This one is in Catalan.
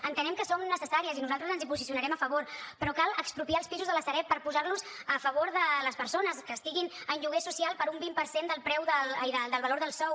entenem que són necessàries i nosaltres ens hi posicionarem a favor però cal expropiar els pisos de la sareb per posar los a favor de les persones que estiguin en lloguer social per un vint per cent del valor del sou